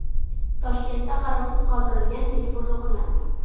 Toshkentda qarovsiz qoldirilgan telefon o‘g‘irlandi.